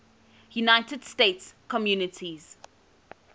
united states communities